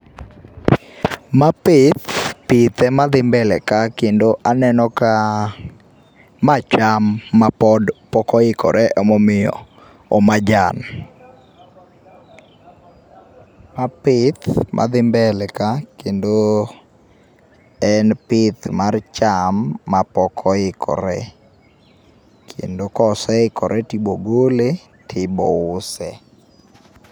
Ma pith, pith ema dhi mbele ka kendo aneno ka ma cham mapod, pok oikore ema omiyo o majan. Ma pith madhi mbele ka kendo en pith mar cham mapok oikore kendo koseikore to ibo gole, to ibo use